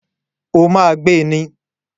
O ma gbé ní